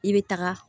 I bɛ taga